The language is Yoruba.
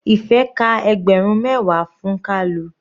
Ife ka ẹgbẹrun mẹwa fún kalu.